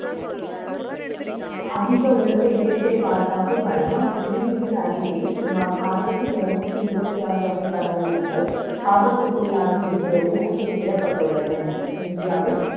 அதிக உலக இயற்கை பாதுகாப்பு கழகம் வெ ளியிட்டுள்ள அறிக்கை யில் சுமார் ஆயிரத்தி இருநூற்றி இருபத்தி ஆறு வகை பறவை இனங்கள் ஆபத்துக்குள்ளாகி இருக்கிறது என குறிப்பிடப்பட்டுள்ளது இந்தியாவில்